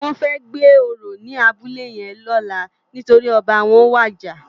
Wòn fè gbé óró ni àbúlé yèn lòlá nitóri òbá wòn wàjá